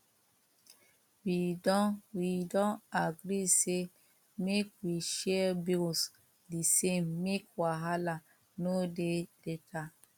we don we don agree say make we share bills the same make wahala no dey later